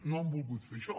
no han volgut fer això